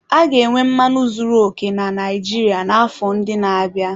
A ga-enwe mmanụ zuru oke na Naijiria n'afọ ndị na-abịa.